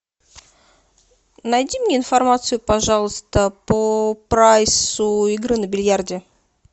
найди мне информацию пожалуйста по прайсу игры на бильярде